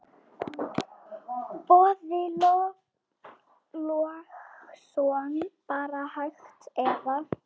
Boði Logason: Bara hægt eða?